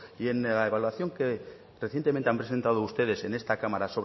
y en la evaluación que recientemente han presentado ustedes en esta cámara